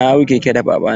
Na hau keke da baba na.